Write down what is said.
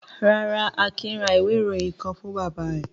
Rárá, Akin ra ìwé-ìròyìn kan fún bàbá rẹ̀.